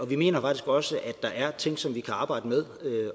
vi mener faktisk også at der er ting som vi kan arbejde med